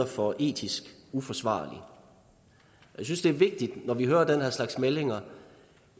for etisk uforsvarlig jeg synes det er vigtigt når vi hører den her slags meldinger